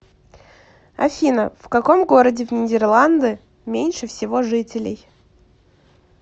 афина в каком городе в нидерланды меньше всего жителей